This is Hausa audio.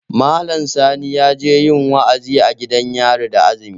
Malam Sani yaje yin wa'azi a gidan yari da azumi